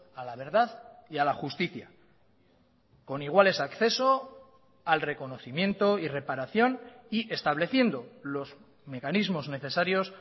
a la verdad y a la justicia con iguales a acceso al reconocimiento y reparación y estableciendo los mecanismos necesarios